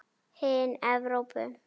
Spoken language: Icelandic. Hin Evrópu